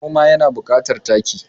Noma yana bukatan taki